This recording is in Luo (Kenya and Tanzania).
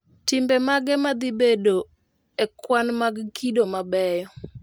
Timbe mage madhi bedo e kwan mag kido mabeyo